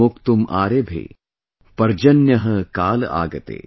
स्वगोभिः मोक्तुम् आरेभे, पर्जन्यः काल आगते ||